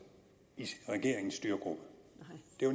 i regeringens det jo